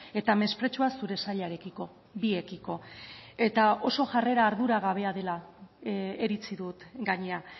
eta mespretxua zure sailarekiko biekiko eta oso jarrera arduragabea dela iritzi dut gainera